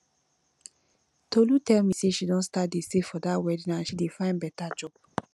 tolu tell me say she don start to dey save for dat wedding and she dey find better job